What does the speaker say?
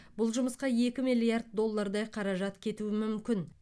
бұл жұмысқа екі миллиард доллардай қаражат кетуі мүмкін